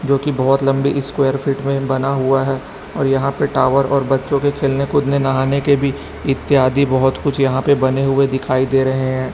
जो कि बहोत लंबी स्क्वायर फीट में बना हुआ है और यहां पे टावर और बच्चों के खेलने कूदने नहाने के भी इत्यादि बहोत कुछ यहां पे बने हुए दिखाई दे रहे हैं।